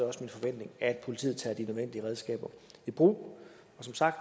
også min forventning at politiet tager de nødvendige redskaber i brug som sagt